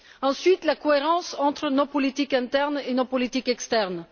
Ensuite, la cohérence entre nos politiques internes et nos politiques externes.